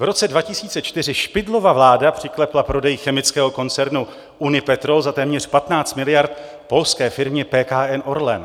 V roce 2004 Špidlova vláda přiklepla prodej chemického koncernu Unipetrol za téměř 15 miliard polské firmě PKN Orlen.